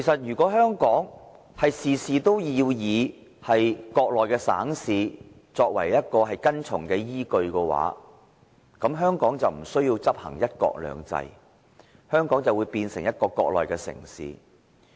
如果香港事事要以國內省市作為跟從的依據，那香港便無須執行"一國兩制"，香港便會變成一個國內的城市。